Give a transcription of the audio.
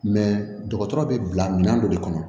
dɔgɔtɔrɔ be bila minɛn dɔ de kɔnɔ